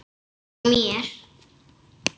Og mér.